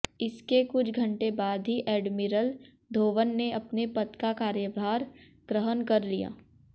इसके कुछ घंटे बाद ही एडमिरल धोवन ने अपने पद का कार्यभार ग्रहण कर लिया